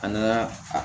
An naa a